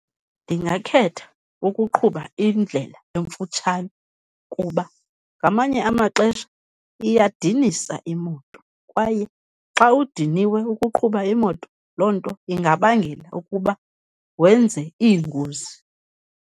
Ndingakhetha ukuqhuba indlela emfutshane kuba ngamanye amaxesha iyadinisa imoto, kwaye xa udiniwe ukuqhuba imoto loo nto ingabangela ukuba wenze iingozi.